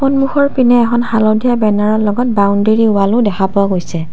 সন্মুখৰ পিনে এখন হালধীয়া বেনাৰৰ লগত বাউন্দাৰি ৱালও দেখা পোৱা গৈছে।